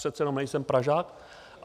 Přece jenom nejsem Pražák.